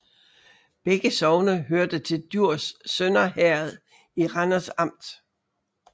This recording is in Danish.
Begge sogne hørte til Djurs Sønder Herred i Randers Amt